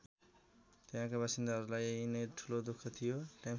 त्यहाँका बासिन्दाहरूलाई यही नै ठुलो दुख थियो।